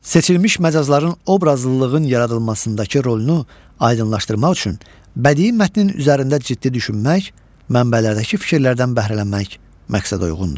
Seçilmiş məcazların obrazlılığın yaradılmasındakı rolunu aydınlaşdırmaq üçün bədii mətnin üzərində ciddi düşünmək, mənbələrdəki fikirlərdən bəhrələnmək məqsədəuyğundur.